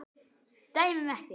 Dæmum ekki.